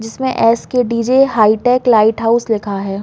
जिसमें S. K. D. J hitech lighthouse लिखा हैं।